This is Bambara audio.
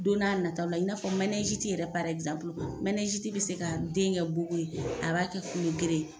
Don n'a nataw la i n'a fɔ manɛziti yɛrɛ manɛziti bi se ka den kɛ bugu ye, a b'a kɛ kulogeren ye.